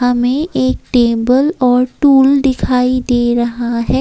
हमें एक टेबल और टूल दिखाई दे रहा है।